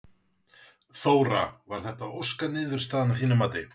Þóra: Var þetta óska niðurstaðan að þínu mati?